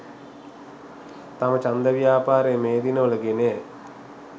තම ජන්ද ව්‍යාපාරය මේ දිනවල ගෙනයයි